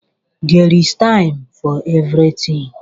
There is time for everything